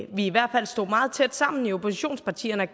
i hvert fald stod meget tæt sammen i oppositionspartierne